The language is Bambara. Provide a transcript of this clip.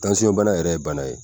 bana yɛrɛ ye bana ye